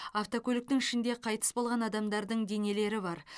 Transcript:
автокөліктің ішінде қайтыс болған адамдардың денелері бар